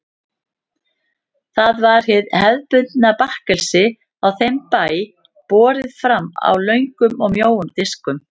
Það var hið hefðbundna bakkelsi á þeim bæ, borið fram á löngum og mjóum diskum.